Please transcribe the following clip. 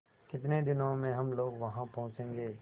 कितने दिनों में हम लोग वहाँ पहुँचेंगे